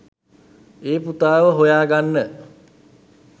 ඒ පුතාව හොයාගන්න